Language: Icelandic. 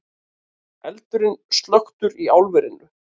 Eldurinn slökktur í álverinu